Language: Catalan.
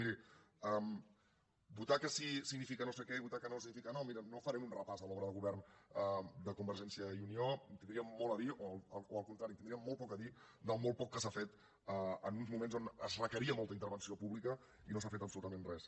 miri votar que sí significa no sé què i votar que no significa no mira no farem un repàs de l’obra de govern de convergència i unió tindríem molt a dir o al contrari tindríem molt poc a dir del molt poc que s’ha fet en uns moments on es requeria molta intervenció pública i que no s’ha fet absolutament res